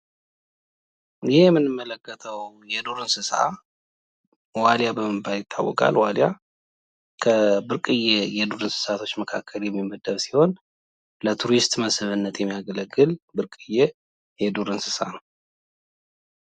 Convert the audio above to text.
ይሄ ምንመለከተው የዱር እንሰሳ ዋሊያ በመባል ይታውቃል ።ዋሊያ ከብርቅዪ የዱር እንሰሳቶች መካከል የሚመደ ሲሆን ለቱሪስት መስህብነት የሚያገለግል ብርቅዪ የዱር እንስሳት ነው።